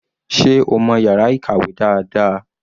Sé o mọ̀ yàrá ìkàwé dáadáa?